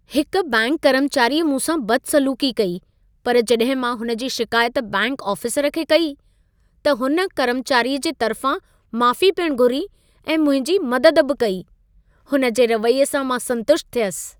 हिक बैंक कर्मचारीअ मूंसां बदसलूक़ी कई। पर जॾहिं मां हुन जी शिकायत बैंक आफ़िसरु खे कई, त हुन कर्मचारीअ जे तरिफां माफ़ी पिण घुरी ऐं मुंहिंजी मदद बि कई। हुन जे रवैये सां मां संतुष्ट थियसि।